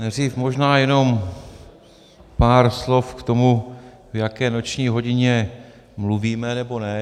Nejdřív možná jenom pár slov k tomu, v jaké noční hodině mluvíme nebo ne.